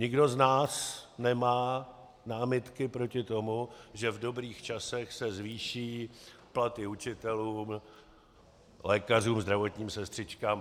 Nikdo z nás nemá námitky proti tomu, že v dobrých časech se zvýší platy učitelům, lékařům, zdravotním sestřičkám.